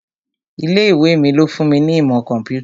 Ilé ìwé mi ló fún mi ní ìmọ̀ kọ̀ḿpútà